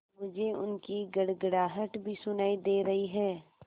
मुझे उनकी गड़गड़ाहट भी सुनाई दे रही है